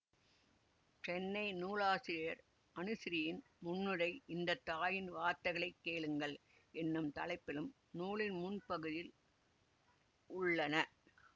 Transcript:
சென்னை நூலாசிரியர் அனுசிரீயின் முன்னுரை இந்த தாயின் வார்த்தைகளைக் கேளுங்கள் என்னும் தலைப்பிலும் நூலின் முன்பகுதியில் உள்ளன